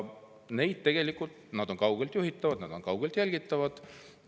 Need on tegelikult kaugelt juhitavad, nad on kaugelt jälgitavad.